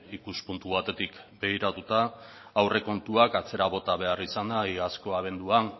ikuspuntu batetik begiratuta aurrekontuak atzera bota behar izana iazko abenduan